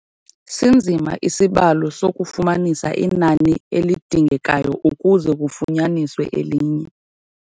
Sinzima isibalo sokufumanisa inani elidingekayo ukuze kufunyaniswe elinye.